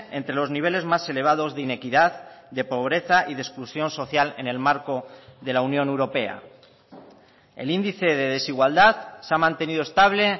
entre los niveles más elevados de inequidad de pobreza y de exclusión social en el marco de la unión europea el índice de desigualdad se ha mantenido estable